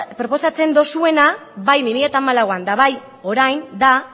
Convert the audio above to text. proposatzen duzuena eta bai bi mila hamalauan eta bai orain da